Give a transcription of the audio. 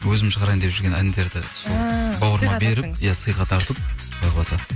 өзім шығарайын деп жүрген әндерді ііі бауырыма беріп иә сыйға тартып құдай қаласа